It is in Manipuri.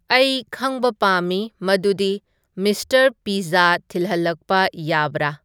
ꯑꯩ ꯈꯪꯕ ꯄꯥꯝꯃꯤ ꯃꯗꯨꯗꯤ ꯃꯤꯁꯇꯔ ꯄꯤꯖꯖꯥ ꯊꯤꯜꯍꯟꯂꯛꯄ ꯌꯥꯕꯔ